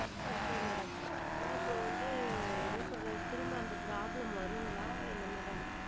Okay madam madam இப்போ வந்து என்ன சொல்றது திரும்ப அந்த problem வருங்களா என்ன madam